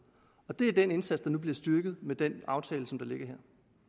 det er den indsats der nu bliver styrket med den aftale som ligger her